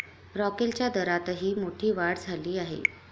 रॉकेलच्या दरातही मोठी वाढ झाली आहे.